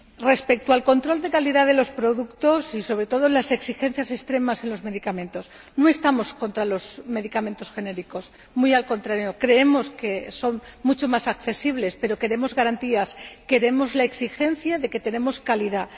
Respecto al control de calidad de los productos y sobre todo en cuanto a las exigencias extremas en materia de medicamentos, no estamos en contra de los medicamentos genéricos. Muy al contrario, creemos que son mucho más accesibles, pero queremos garantías. Queremos la exigencia de tener calidad.